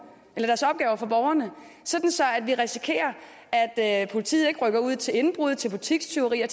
så vi risikerer at politiet ikke rykker ud til indbrud til butikstyveri og